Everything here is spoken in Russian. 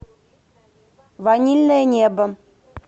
ванильное небо